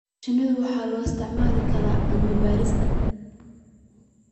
Shinnida waxaa loo isticmaali karaa cilmi baarista